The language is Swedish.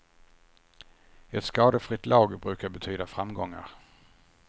Ett skadefritt lag brukar betyda framgångar.